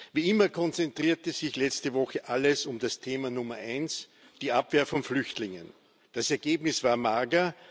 Wie immer konzentrierte sich letzte Woche alles um das Thema Nummer eins die Abwehr von Flüchtlingen. Das Ergebnis war mager.